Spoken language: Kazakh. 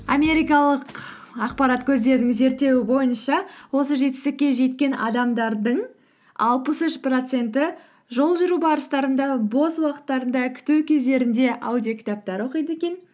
америкалық ақпарат көздерінің зерттеуі бойынша осы жетістікке жеткен адамдардың алпыс үш проценті жол жүру барыстарында бос уақыттарында күту кездерінде аудиокітаптар оқиды екен